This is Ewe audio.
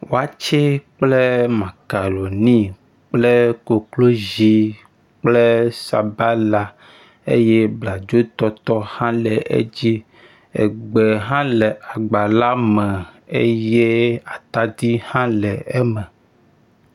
Watsɛ kple makaɖoni kple koklozi kple sabala eye bladzotɔtɔ hã le edzi. Egbe hã le agba la me eye atadi hã le eme.